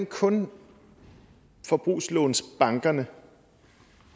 kun forbrugslånsbankerne